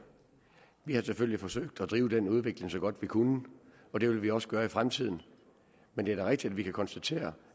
vi har selvfølgelig forsøgt at drive den udvikling så godt vi kunne og det vil vi også gøre i fremtiden men det er da rigtigt at vi kan konstatere